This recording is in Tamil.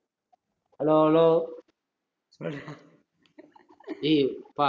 hello hello டேய் யப்பா